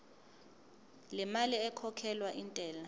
lemali ekhokhelwa intela